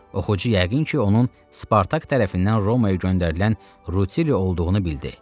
Oxucu yəqin ki, onun Spartak tərəfindən Romaya göndərilən Rutili olduğunu bildi.